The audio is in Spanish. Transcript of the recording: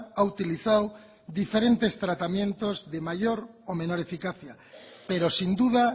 ha utilizado diferentes tratamientos de mayor o menor eficacia pero sin duda